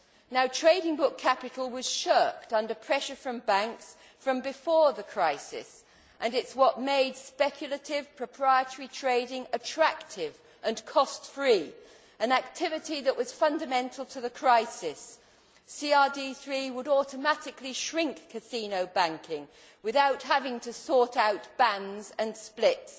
Now, trading book capital was shirked under pressure from banks from before the crisis, and it is what made speculative proprietary trading attractive and cost free, an activity that was fundamental to the crisis. CRD III would automatically shrink casino banking without having to sort out bands and splits